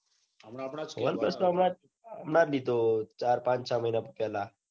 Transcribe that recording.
હમણાં આપડા જ one plus તો હમણાં જ લીધો ચાર પાંચ ચ મહીના પેલા